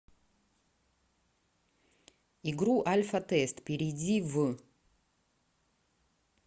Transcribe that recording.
игру альфа тест перейди в